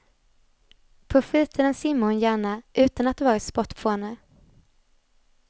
På fritiden simmar hon gärna, utan att vara sportfåne.